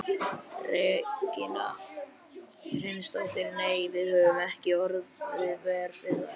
Regína Hreinsdóttir: Nei, við höfum ekkert orðið vör við þær?